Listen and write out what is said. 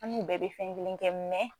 An n'u bɛ be fɛn kelen kɛ mɛn